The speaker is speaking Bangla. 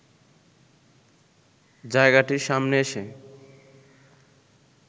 জায়গাটির সামনে এসে